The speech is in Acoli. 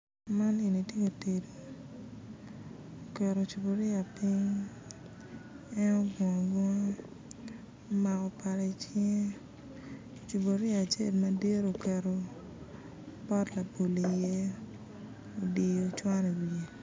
Man eni tye itic oketo cupuria piny en ogungu agunga omako pala icinge cupuria acel madit oketo pot labolo i iye odiyo cwan i iwiye